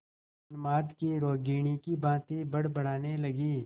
उन्माद की रोगिणी की भांति बड़बड़ाने लगी